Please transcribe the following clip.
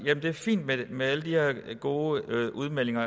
er det fint med alle de her gode udmeldinger